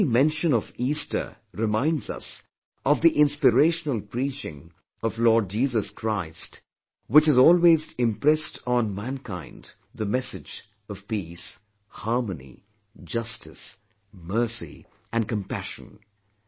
The very mention of Easter reminds us of the inspirational preaching of Lord Jesus Christ which has always impressed on mankind the message of peace, harmony, justice, mercy and compassion